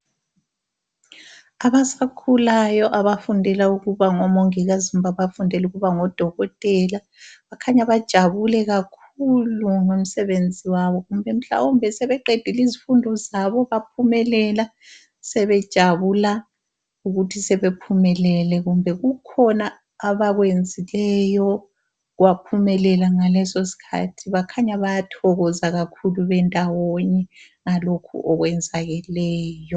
Abasakhulayo abafundela ukuba ngomongikazi kumbe abafundela ukuba ngodokotela bakhanya bajabule kakhulu ngomsebenzi wabo kumbe mhlawumbe sebeqedile izifundo zabo baphumelela sebejabula ukuthi sebephumelele kumbe kukhona abakwenzileyo kwaphumelela ngaleso sikhathi bakhanya bayathokoza kakhulu bendawonye ngalokho okwenzakeleyo.